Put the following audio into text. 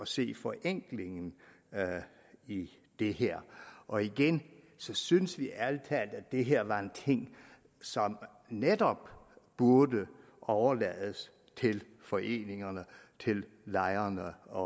se forenklingen i det det her og igen synes vi ærlig talt at det her var en ting som netop burde overlades til foreningerne til lejerne og